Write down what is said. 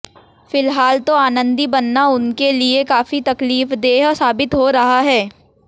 फिलहाल तो आनंदी बनना उनके लिए काफी तकलीफदेय साबित हो रहा है